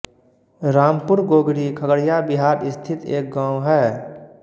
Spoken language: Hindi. रामपुर गोगरी खगड़िया बिहार स्थित एक गाँव है